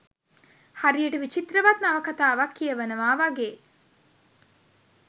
හරියට විචිත්‍රවත් නවකතාවක් කියවනවා වගේ